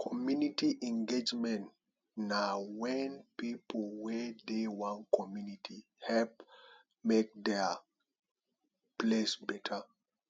community engagement na wen pipo wey dey one community help make dia place beta